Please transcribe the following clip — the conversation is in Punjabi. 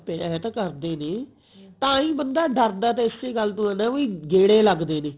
ਪਰ ਐਂ ਤ੍ਜ਼ਨ ਕਰਦੇ ਨਹੀਂ ਤਾਹੀਂ ਤਾਂ ਬੰਦਾ ਡਰਦਾ ਇਸੇ ਗੱਲ ਤੋਂ ਐ ਵੀ ਗੇੜੇ ਲਗਦੇ ਨੇ